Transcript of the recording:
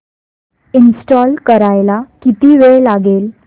install करायला किती वेळ लागेल